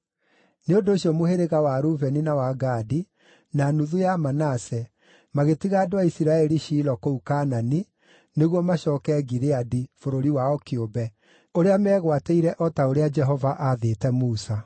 Nĩ ũndũ ũcio mũhĩrĩga wa Rubeni, na wa Gadi, na nuthu ya Manase magĩtiga andũ a Isiraeli Shilo kũu Kaanani nĩguo macooke Gileadi, bũrũri wao kĩũmbe, ũrĩa meegwatĩire naguo o ta ũrĩa Jehova aathĩte Musa.